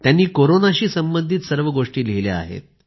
त्यांनी कोरोनाशी संबंधित सर्व गोष्टी लिहिल्या आहेत